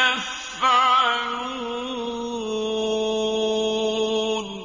يَفْعَلُونَ